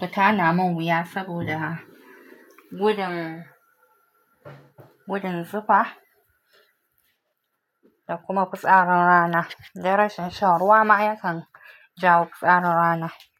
kutana mun wuya saboda gudun, gudun zufa da kuma kutsarin rana. Darashin shan ruwa ma yakan jawo kutsarin rana.